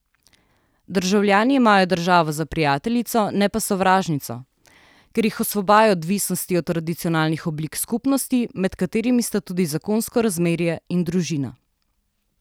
Državljani imajo državo za prijateljico, ne pa sovražnico, ker jih osvobaja odvisnosti od tradicionalnih oblik skupnosti, med katerimi sta tudi zakonsko razmerje in družina.